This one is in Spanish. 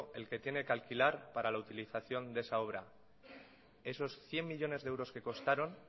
el que tiene que alquilar para la utilización de esa obra esos cien millónes de euros que costaron